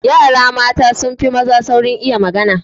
Yara mata sun fi maza saurin iya magana.